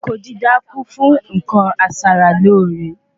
Oko dídá kun fún nkan aṣara lóore